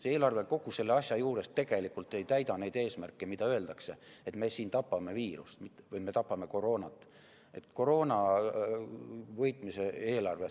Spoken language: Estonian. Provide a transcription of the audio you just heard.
See eelarve kogu selle asja juures tegelikult ei täida neid eesmärke, kui öeldakse, et me tapame koroonat, et see on koroona võitmise eelarve.